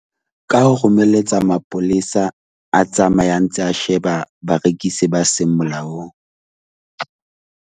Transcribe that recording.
Ka ho romelletsa mapolesa a tsamayang tsa sheba barekisi ba seng molaong .